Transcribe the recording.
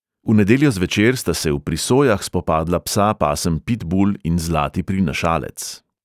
V nedeljo zvečer sta se v prisojah spopadla psa pasem pitbul in zlati prinašalec.